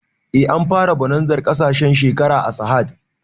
Eh an fara bonazar ƙarshen shekara a sahad